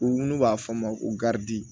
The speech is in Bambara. U n'u b'a f'a ma ko garidi